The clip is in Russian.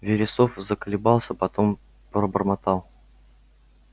вересов заколебался потом пробормотал